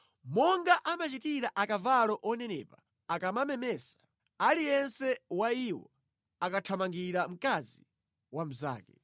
Monga amachitira akavalo onenepa akamamemesa, aliyense wa iwo ankathamangira mkazi wa mnzake.